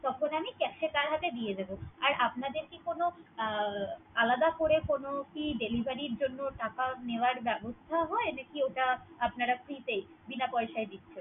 তখন আমি Cash এ তার হাতে দিয়ে দিবো। আর আপনাদের কি কোন আলাদা করে কোন কি Deliviry জন্য টাকা নেওয়ার ব্যবস্থা হয়। নাকি ওটা আপনারা Free তেই বিনা পয়সায় দিচ্ছেন।